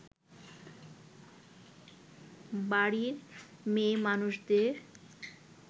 বাড়ির মেয়েমানুষদের